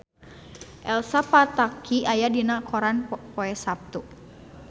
Elsa Pataky aya dina koran poe Saptu